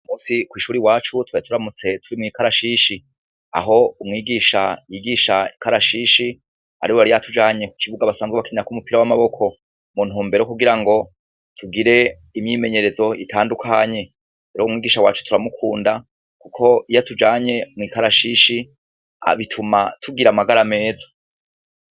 Uyu munsi kw' ishuri iwacu twari turamutse tugira ikarashishi . Aho umwigisha yigisha ikarashishi , ariwe yari yatujanye ku kibuga basanzwe bakinirako umupira w' amaboko . Mu ntumbero yo kugirango tugire imyimenyerezo itandukanye. Rero umwigisha wacu turamukunda kuko iyo atujanye mw' ikarashishi, bituma tugira amagara meza.